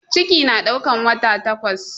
Ciki na ɗaukan wata takwas